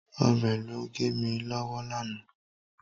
Ọ̀bẹ ló gé mi lọ́wọ́ lánàá.